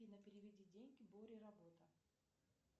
афина переведи деньги боре работа